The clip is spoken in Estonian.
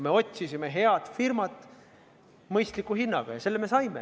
Me otsisime head firmat mõistliku hinna eest ja selle me ka saime.